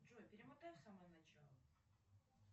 джой перемотай в самое начало